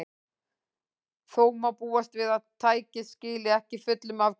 Þó má búast við að tækið skili ekki fullum afköstum.